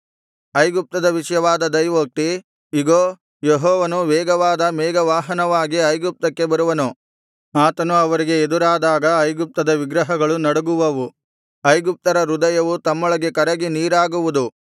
ಐಗುಪ್ತದ ವಿಷಯವಾದ ದೈವೋಕ್ತಿ ಇಗೋ ಯೆಹೋವನು ವೇಗವಾದ ಮೇಘವಾಹನವಾಗಿ ಐಗುಪ್ತಕ್ಕೆ ಬರುವನು ಆತನು ಅವರಿಗೆ ಎದುರಾದಾಗ ಐಗುಪ್ತದ ವಿಗ್ರಹಗಳು ನಡುಗುವವು ಐಗುಪ್ತರ ಹೃದಯವು ತಮ್ಮೊಳಗೆ ಕರಗಿ ನೀರಾಗುವುದು